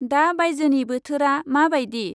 दा बाइजोनि बोथोरा माबायदि?